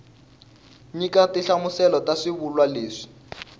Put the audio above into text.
nyika tinhlamuselo ta swivulwa leswi